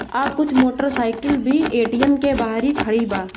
और कुछ motorcycle भी ए.टी.एम. के बाहर ही खड़ी बा।